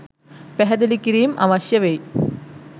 පැහැදිලි කිරීම් අවශ්‍ය වෙයි.